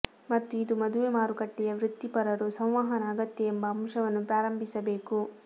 ಮತ್ತು ಇದು ಮದುವೆ ಮಾರುಕಟ್ಟೆಯ ವೃತ್ತಿಪರರು ಸಂವಹನ ಅಗತ್ಯ ಎಂಬ ಅಂಶವನ್ನು ಪ್ರಾರಂಭಿಸಬೇಕು